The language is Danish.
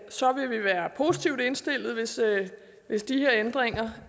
så vi vil være positivt indstillet hvis de her ændringer